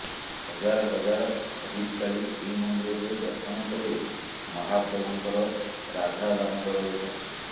ହଜାର ହଜାର ହବିଷ୍ୟାଳୀ ଶ୍ରୀମନ୍ଦିରରେ ଦର୍ଶନ କରିବେ ମହାପ୍ରଭୁଙ୍କର ରାଧାଦାମୋଦର ବେଶ